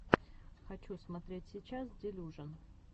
хочу смотреть сейчас делюжон